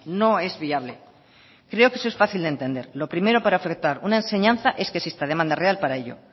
no es viable creo que eso es fácil de entender lo primero para ofertar una enseñanza es que exista demanda real para ello